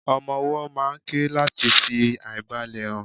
ọmọ ọwó máà ń ké lati fi aìbalẹ̀ hàn